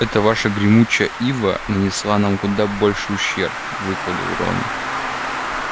эта ваша гремучая ива нанесла нам куда больший ущерб выпалил рон